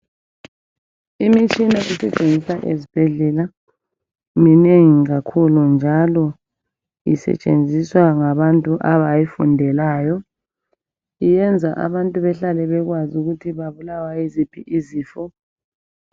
Imitshina esetshenziswa ezibhedlela minengi kakhulu njalo isetshenziswa ngabantu abayifundelayo iyenza abantu behlale bekwazi ukuthi babulawa yiziphi izifo.